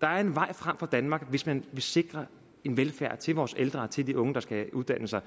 der er en vej frem for danmark hvis man vil sikre velfærd til vores ældre til unge der skal uddanne sig